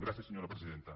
gràcies senyora presidenta